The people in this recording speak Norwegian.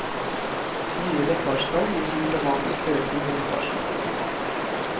Nye lekkasjetall viser en dramatisk økning i lekkasjen.